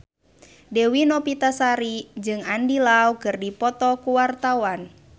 Dewi Novitasari jeung Andy Lau keur dipoto ku wartawan